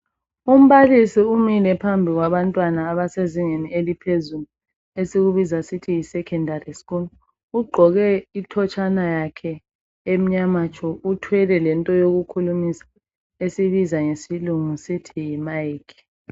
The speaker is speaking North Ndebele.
Umbalisi umile phambi kwabantwana abasezingeni eliphezulu esikubiza sithi Yi secondary school .Ugqoke ithotshana yakhe emnyama tshu ,uthwele lento yokukhulumisa esiyibiza ngesilungu sithi Yi Mic.